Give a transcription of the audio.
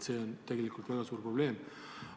See on tegelikult väga suur probleem.